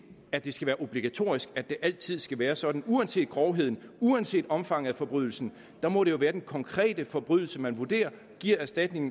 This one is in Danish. at det skal være obligatorisk at det altid skal være sådan uanset grovheden uanset omfanget af forbrydelse må det jo være den konkrete forbrydelse man vurderer og giver erstatningen